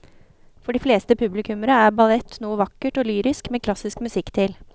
For de fleste publikummere er ballett noe vakkert og lyrisk med klassisk musikk til.